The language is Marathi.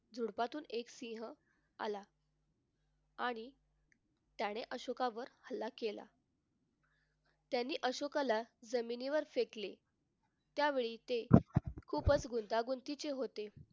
झुडपातून एका सिंह आला आणि त्याने अशोकावर हल्ला केला त्याने अशोकाला जमिनीवर फेकले. त्यावेळी ते खूपच गुंतागुंतीचे होते.